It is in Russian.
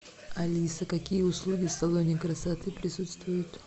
алиса какие услуги в салоне красоты присутствуют